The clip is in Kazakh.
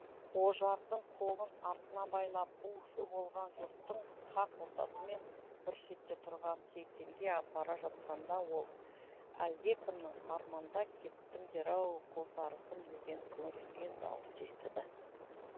ожардың қолын артына байлап у шу болған жұрттың қақ ортасымен бір шетте тұрған сейтенге апара жатқанда ол әлдекімнің арманда кеттіңдер ау қос арысым деген күңіренген дауыс естіді